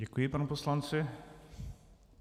Děkuji panu poslanci.